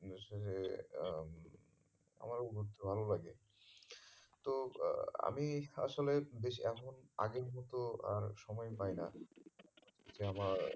হচ্ছে যে এ আহ আমারও ঘুরতে ভালো লাগে তো আহ আমি আসলে বেশি এখন আগের মতো আর সময় পাই না যে আমার